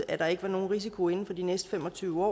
at der ikke var nogen risiko inden for de næste fem og tyve år